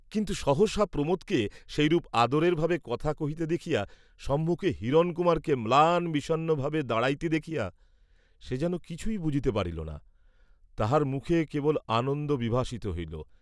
কিন্তু সহসা প্রমোদকে সেইরূপ আদরের ভাবে কথা কহিতে দেখিয়া সম্মুখে হিরণকুমারকে ম্লান বিষণ্নভাবে দাঁড়াইতে দেখিয়া, সে যেন কিছুই বুঝিতে পারিল না, তাহার মুখে কেবল আনন্দ বিভাসিত হইল।